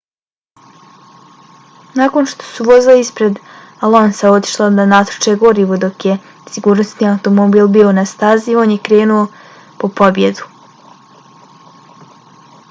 nakon što su vozila ispred alonsa otišla da natoče gorivo dok je sigurnosni automobil bio na stazi on je krenuo po pobjedu